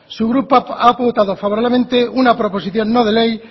su grupo ha votado favorablemente una proposición no de ley